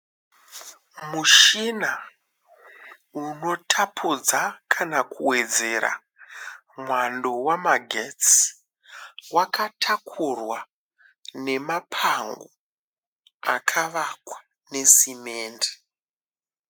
Mushina unotapudza kana kuwedzera mwando wamagetsi wakatakurwa nemapango pakavakwa ne simendi.